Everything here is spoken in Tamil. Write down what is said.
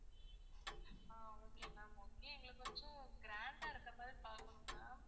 ஆஹ் okay ma'am okay எங்களுக்கு கொஞ்சம் grand ஆ இருக்கிற மாதிரி பார்க்கணும் ma'am